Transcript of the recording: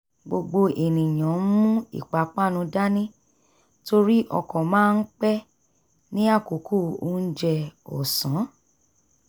gbogbo ènìyàn ń mú ìpápánu dání torí ọkọ̀ máa ń pé ní àkókò onjẹ ọ̀sán